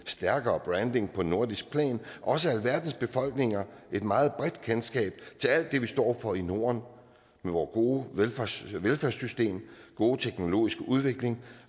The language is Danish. stærkere branding på nordisk plan og også alverdens befolkninger et meget bredt kendskab til alt det vi står for i norden med vor gode velfærdssystem velfærdssystem gode teknologiske udvikling